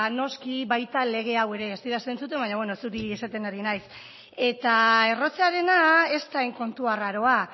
noski baita lege hau ere ez didazu entzuten baina beno zuri esaten ari naiz eta errotzearena ez da hain kontu arraroa